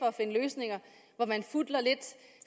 at finde løsninger hvor man